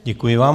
Děkuji vám.